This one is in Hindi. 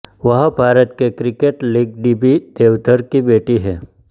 वह भारत के cricket league D B Deodhar की बेटी हैं